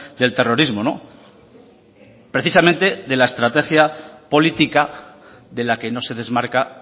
del terrorismo precisamente de la estrategia política de la que no se desmarca